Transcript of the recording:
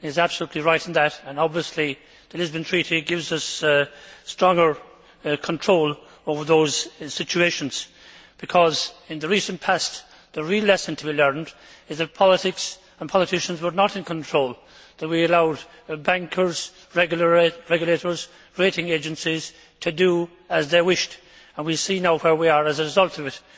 He is absolutely right in that and, obviously, the Lisbon Treaty gives us stronger control over those situations because, in the recent past, the real lesson to be learnt is that politics and politicians were not in control, that we allowed bankers, regulators and rating agencies to do as they wished and we see now where we are as a result of it.